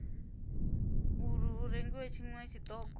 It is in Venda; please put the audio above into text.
uri hu rengiwe tshiṅwe tshiṱoko